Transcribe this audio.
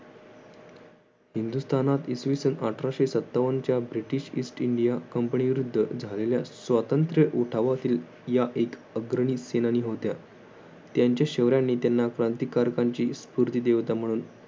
हिंदुस्तानात इसवीसन अठराशे सत्तावनच्या ब्रिटिश ईस्ट इंडिया कंपनी विरुद्ध झालेल्या स्वातंत्र्य उठावाचे या एक अग्रहीत सेनानी होत्या. त्यांच्या शौर्याने त्यांना क्रांतिकारकांची स्फूर्ती देवता म्हणून